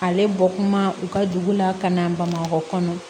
Ale bɔ kuma u ka dugu la ka na bamakɔ kɔnɔ